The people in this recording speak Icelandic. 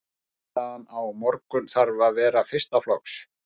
Frammistaðan á morgun þarf að vera fyrsta flokks.